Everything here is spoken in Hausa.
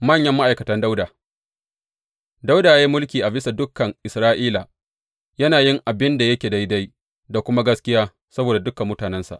Manyan ma’aikatan Dawuda Dawuda ya yi mulki a bisa dukan Isra’ila, yana yin abin da yake daidai da kuma gaskiya saboda dukan mutanensa.